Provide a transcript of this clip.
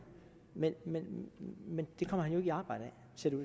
men men det kommer han jo ikke i arbejde